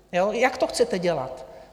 Jak to chcete dělat?